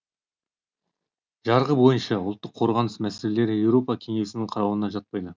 жарғы бойынша ұлттық қорғаныс мәселелері еуропа кеңесінің қарауына жатпайды